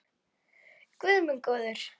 Guð minn góður!